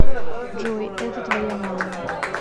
джой это твоя мама